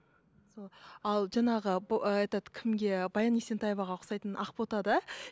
ал жаңағы этот кімге баян есентаеваға ұқсайтын ақботада